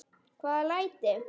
Hvaða læti?